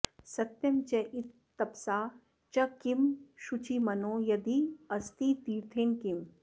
सत्यं चेत्तपसा च किं शुचि मनो यद्यस्ति तीर्थेन किम्